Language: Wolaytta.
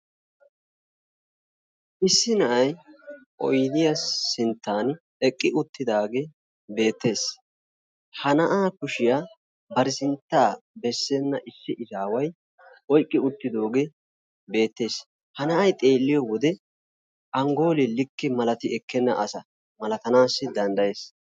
Issi na'ay oydiya sinttan eqqi uttidaagee beettees, ha na'aa kushiya bari sinttaa bessena issi izaaway oyqqi uttidooge beettees ha na'ay xeeliyo wode angoolee likke maliti ekkena asa malatanaassi danddayees.